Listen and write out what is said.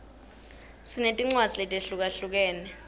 sinetincwadzi letehlukahlukene